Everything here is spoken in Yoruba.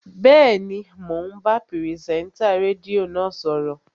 Bẹ́ẹ̀ni, mò ń bá pìrìsẹ́ńtà rédíò náà sọ̀rọ̀